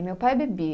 Meu pai bebia.